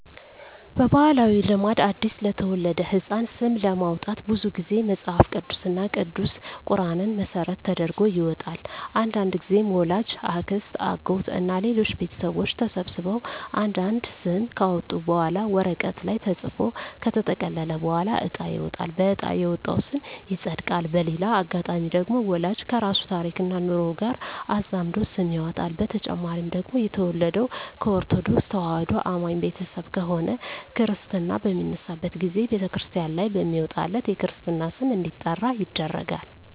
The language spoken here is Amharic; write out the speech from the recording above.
በባህላዊ ልማድ አዲስ ለተወለደ ህጻን ስም ለማውጣት ብዙ ግዜ መጸሀፍ ቅዱስ እና ቅዱስ ቁራንን መሰረት ተደርጎ ይወጣል። አንዳንድግዜም ወላጅ፣ አክስት፣ አጎት እና ሌሎች ቤተሰቦች ተሰብስበው አንድ አንድ ስም ካወጡ በኋላ ወረቀት ላይ ተጽፎ ከተጠቀለለ በኋላ እጣ ይወጣል በእጣ የወጣው ስም ይጸድቃል። በሌላ አጋጣሚ ደግሞ ወላጅ ከራሱ ታሪክና ኑሮ ጋር አዛምዶ ስም ያወጣል። በተጨማሪ ደግሞ የተወለደው ከኦርተዶክ ተዋህዶ አማኝ ቤተሰብ ከሆነ ክርስታ በሚነሳበት ግዜ በተክርስቲያን ላይ በሚወጣለት የክርስትና ስም እንዲጠራ ይደረጋል።